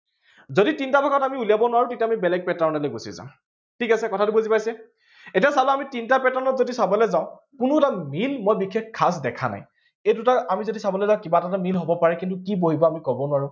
যদি তিনিটা ভাগত আমি উলিয়াব নোৱাৰো তেতিয়া আমি বেলেগ pattern লে গুচি যাম। ঠিক আছে, কথাটো বুজি পাইছে এতিয়া চাব আমি তিনিটা pattern ত চাবলে যাওঁ কোনো এটা দিন মই বিশেষ খাছ দেখা নাই। এই দুটা আমি চাবলে যাওঁ কিবা এটাতো মিল হব পাৰে, যদি কি বহিব আমি কব নোৱাৰো